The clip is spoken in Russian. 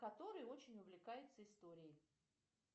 который очень увлекается историей